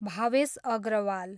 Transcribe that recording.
Bhavesh Agrawal